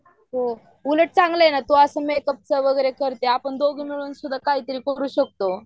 बार आहे ना तू मेक अप चा करते मग आम्ही दोघी मिळून काही करू शकतो